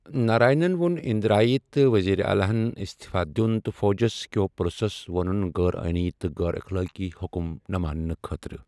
نارائنن وون اندرایہ تہٕ وزیر اعلیٰ ہن استعفیٰ دِیوٗن تہٕ فوجس كِہو پٗلسس وونٗن غیر آئینی تہٕ غیر اخلاقی حکم نہٕ ماننہٕ خٲطرٕ ۔